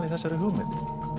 í þessari hugmynd